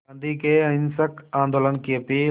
गांधी के अहिंसक आंदोलन की अपील